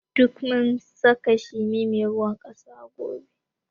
Duk mu saka shimi mai ruwan ƙasa gobe